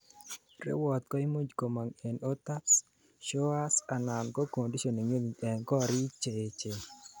rewot koimuch komong en hot tubs, showers anan ko conditioning units en korik cheechen